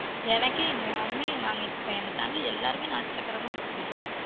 எனக்கே யாருமே நாங்க இப்ப எங்க family ல எல்லாரு நாட்டுசக்கரை தான் போட்டு குடிகிரோம்